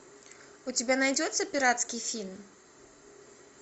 у тебя найдется пиратский фильм